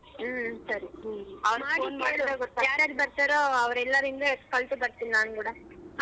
ಹ್ಮ ಸರಿ ಅವರಗೆ ಮಾಡಿ ಕೇಳು ಯಾರ್ಯಾರ ಬರ್ತಾರೋ ಅವರೆಲ್ಲರಿಂದ differently ಬರ್ತೀನಿ ನಾನು ಕೂಡ.